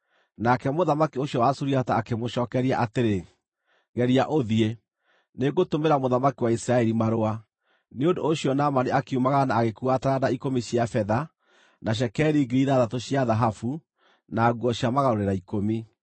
Nake mũthamaki ũcio wa Suriata akĩmũcookeria atĩrĩ, “Geria ũthiĩ. Nĩngũtũmĩra mũthamaki wa Isiraeli marũa.” Nĩ ũndũ ũcio Naamani akiumagara na agĩkuua taranda ikũmi cia betha, na cekeri 6,000 cia thahabu, na nguo cia magarũrĩra ikũmi.